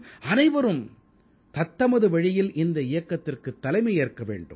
அனைவரும் தத்தமது வழியில் இந்த இயக்கத்திற்குத் தலைமையேற்க வேண்டும்